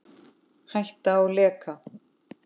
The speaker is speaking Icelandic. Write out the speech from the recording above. Hætta á leka?